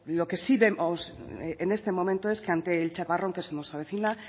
lo que sí vemos en este momento es que ante el chaparrón que se nos avecina